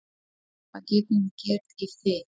Hvað getum við gert í því?